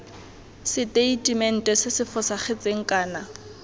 seteitemente se se fosagetseng kana